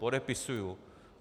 Podepisuji.